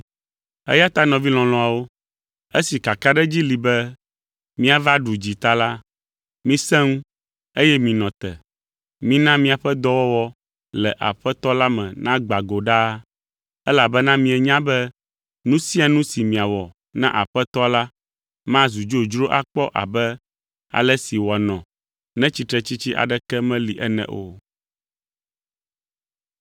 Eya ta nɔvi lɔlɔ̃awo, esi kakaɖedzi li be míava ɖu dzi ta la, misẽ ŋu, eye minɔ te. Mina miaƒe dɔwɔwɔ le Aƒetɔ la me nagbã go ɖaa, elabena mienya be nu sia nu si miawɔ na Aƒetɔa la mazu dzodzro akpɔ abe ale si wòanɔ ne tsitretsitsi aɖeke meli ene o.